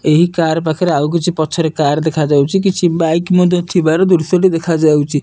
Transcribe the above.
ଏହି କାର ପାଖରେ ଆଉ କିଛି ପଛରେ କାର କିଛି ବାଇକ୍ ଦୃଶ୍ୟ ଟି ଦେଖ ଯାଉଛି।